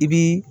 I bi